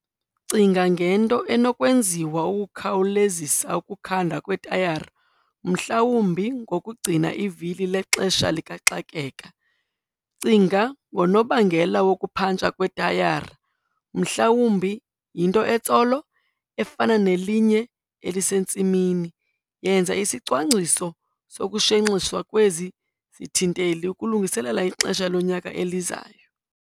Cinga ngento enokwenziwa ukukhawulezisa ukukhandwa kwetayara mhlawumbi ngokugcina ivili lexesha likaxakeka. Cinga ngonobangela wokuphantsha kwetayara, mhlawumbi yinto etsolo, efana nelinye elisentsimini. Yenza isicwangciso sokushenxiswa kwezi zithinteli ukulungiselela ixesha lonyaka elizayo.